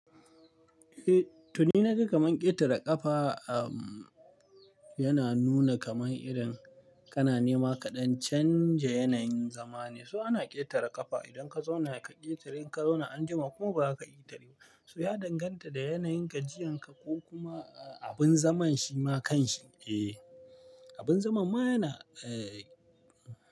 Eh, to ni na ga kaman ƙetare ƙafa, yana nuna kaman irin ƙananima kaɗan canja yanayin zama ne. So ana ƙetare ƙafa idan ka zauna ka ƙetare, in ka zauna anjima kuma ba ka ƙetare ba. So ya danganta da yanayin gajiyan ka ko kuma abin zaman shi ma kan shi. Eh, abin zaman ma yana, eh.